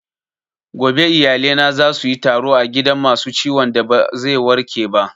Gobe iyalina za suyi taro a gidan masu ciwon da ba zai warke ba